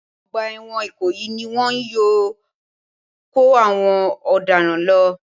Ọgbà ẹ̀wọ̀n ìkòyí ni wọn yóò kó àwọn ọ̀daràn lọ